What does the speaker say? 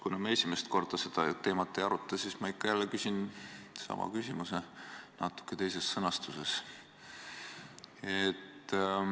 Kuna me ei aruta seda teemat esimest korda, siis ma ikka jälle küsin sama küsimuse natuke teises sõnastuses.